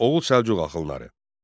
Oğuz Səlcuq axınları.